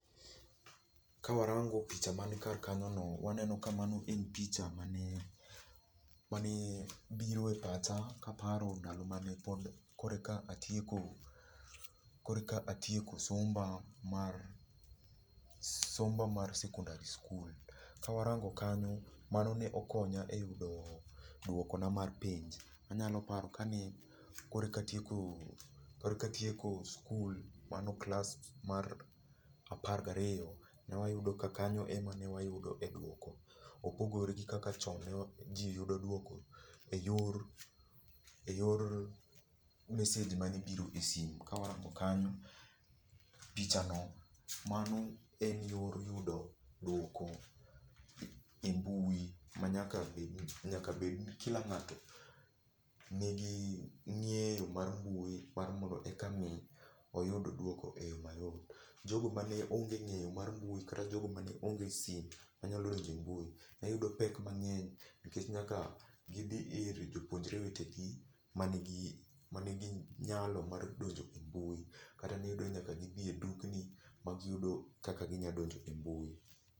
Ka warango picha man kar kanyono waneno ka mano en picha mane, mane biro e pacha kaparo ndalo mane koro eka atieko, koro eka atieko somba mar somba mar sekondar skul. Ka warango kanyo, mano ne okonya eyudo duokona mar penj. Anyalo paro kanyo kane kor eka atieko koro eka atieko sikul, mano klas mar apar gariyo, ne wayudo ka kanyo ema ne wayudoe duoko. Ok ogol gi kaka chon ne ji yudo duoko eyor, eyor message mane biro e simu. Ka warango kanyo picha no mano en yor yudo duoko e mbui ma nyaka bed gi kila ng'ato nigi ng'eyo mar mbui mondo mi oyud duoko eyo mayot. Jogo mane onge ng'eyo mar mbui kata jogo mane onge sime manyalo do njo e mbui neyudo pek mang'eny nikech ne nyaka gidhi ir jopuonjre wetegi mani gi nyalo mar donjo e mbui kata ne iyudo ni nyaka gidhi e dukni ma giyudo kaka ginyalo donjo e mbui.